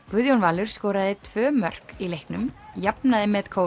Guðjón Valur skoraði tvö mörk í leiknum jafnaði met